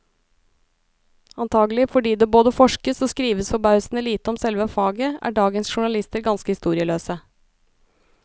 Antagelig fordi det både forskes og skrives forbausende lite om selve faget, er dagens journalister ganske historieløse.